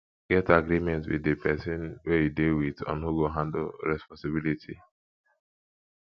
get agreement with di persin wey you de with on who go handle responsibility